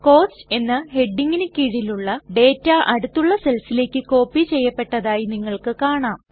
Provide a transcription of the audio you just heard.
cost എന്ന ഹെഡിംഗിനു കീഴിലുള്ള ഡേറ്റ അടുത്തുള്ള സെൽസിലേക്ക് കോപ്പി ചെയ്യപ്പെട്ടതായി നിങ്ങൾക്ക് കാണാം